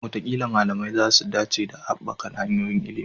Wataƙila malamai za su dace da haɓaka hanyoyin ilimi.